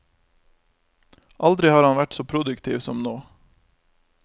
Aldri har han vært så produktiv som nå.